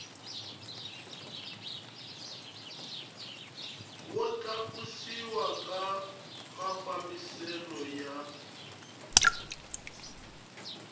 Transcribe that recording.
wo tlakusiwa ka mafambiselo ya